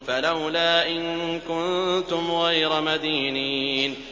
فَلَوْلَا إِن كُنتُمْ غَيْرَ مَدِينِينَ